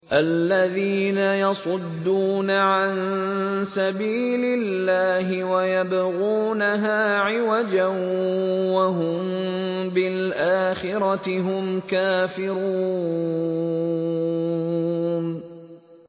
الَّذِينَ يَصُدُّونَ عَن سَبِيلِ اللَّهِ وَيَبْغُونَهَا عِوَجًا وَهُم بِالْآخِرَةِ هُمْ كَافِرُونَ